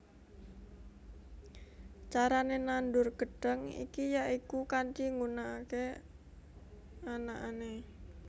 Carané nandur gêdhang iki ya iku kanthi nggunakaké anakané